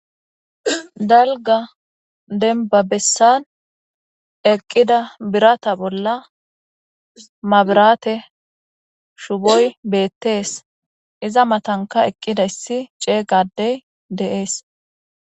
Dalga denba bessan eqqida birata bolla mabirate shuboy beettees iza matanka eqqida issi cee gadey deees.